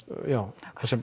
já